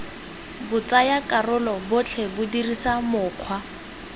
batsayakarolo botlhe ba dirisa mokgwa